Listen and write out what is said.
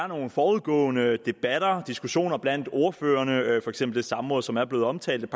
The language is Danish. nogle forudgående debatter og diskussioner blandt ordførerne for eksempel det samråd som er blevet omtalt